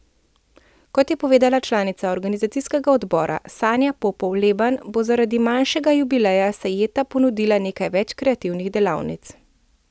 Kot je povedala članica organizacijskega odbora Sanja Popov Leban, bo zaradi manjšega jubileja Sajeta ponudila nekaj več kreativnih delavnic.